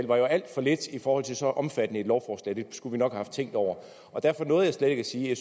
var alt for lidt i forhold til så omfattende et lovforslag det skulle vi nok have haft tænkt over derfor nåede jeg slet ikke at sige at